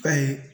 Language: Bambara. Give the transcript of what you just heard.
Ka ye